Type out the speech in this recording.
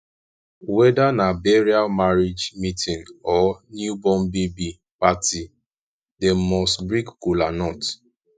weda na burial marriage meetin or new born baby party dem must break kolanut